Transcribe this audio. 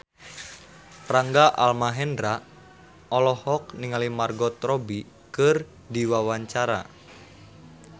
Rangga Almahendra olohok ningali Margot Robbie keur diwawancara